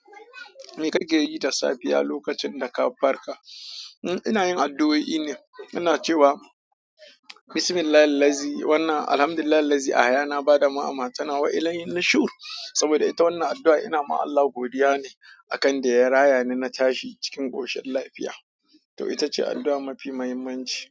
Me ka ke yi da safiya lokacin da ka farka. Hm, ina yin addu'o'i ne, ina cewa "Bismillahi lazi, wannan, Alhamdulillah, lazi a hayana ba da mu'ama, tana wa ilayhin nishrur." saboda ita wannan addu, ai ina ma Allah godiya ne akan da ya raya ni na tashi cikin koshin lafiya to ita ce addu'a mafi muhimmanci.